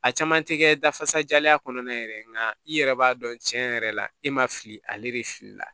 A caman tɛ kɛ dafasajalen kɔnɔna ye yɛrɛ nka i yɛrɛ b'a dɔn cɛn yɛrɛ la e ma fili ale de fili la